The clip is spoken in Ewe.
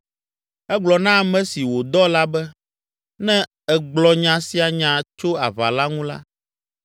Egblɔ na ame si wòdɔ la be, “Ne ègblɔ nya sia nya tso aʋa la ŋu la,